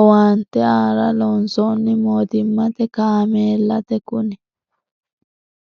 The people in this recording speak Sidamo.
owaante aara loonsoni mootimmate kaameellati kuni.